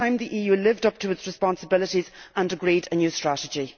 It is time the EU lived up to its responsibilities and agreed a new strategy.